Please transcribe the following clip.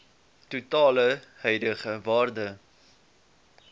totale huidige waarde